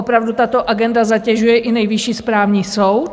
Opravdu tato agenda zatěžuje i Nejvyšší správní soud.